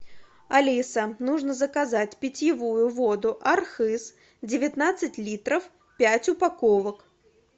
алиса нужно заказать питьевую воду архыз девятнадцать литров пять упаковок